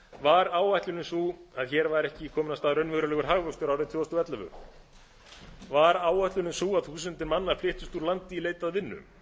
var áætlunin sú að hér væri ekki kominn af stað raunverulegur hagvöxtur árið tvö þúsund og ellefu var áætlunin sú að þúsundir manna flyttust úr landi í leit að vinnu